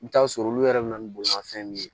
I bɛ t'a sɔrɔ olu yɛrɛ bɛ na ni bolimafɛn min ye